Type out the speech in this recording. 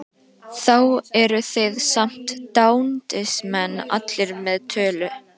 Þá eru þið samt dándismenn allir með tölu!